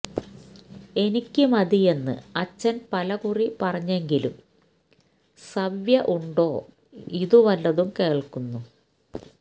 എനിക്ക് മതിയെന്ന് അച്ഛന് പലകുറി പറഞ്ഞെങ്കിലും സവ്യ ഉണ്ടോ ഇതുവല്ലതും കേള്ക്കുന്നു